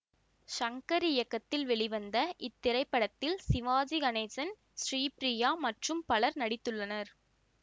சங்கர் இயக்கத்தில் வெளிவந்த இத்திரைப்படத்தில் சிவாஜி கணேசன் ஸ்ரீபிரியா மற்றும் பலரும் நடித்துள்ளனர்